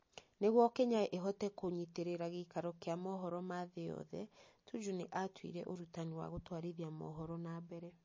Nĩguo Kenya ĩhote kunyitĩrĩra gĩikaro kĩa mohoro ma thĩ yothe, Tuju nĩ atuire ũrutani wa gũtwarithia mohoro na mbere.